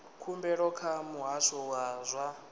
khumbelo kha muhasho wa zwa